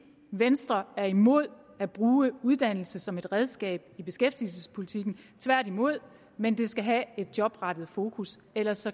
venstre er imod at bruge uddannelse som et redskab i beskæftigelsespolitikken tværtimod men det skal have et jobrettet fokus ellers